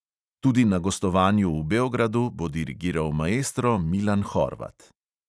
Tudi na gostovanju v beogradu bo dirigiral maestro milan horvat.